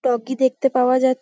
টগি দেখতে পাওয়া যাচ --